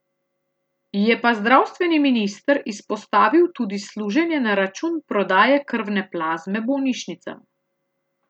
Je pa zdravstveni minister izpostavil tudi služenje na račun prodaje krvne plazme bolnišnicam.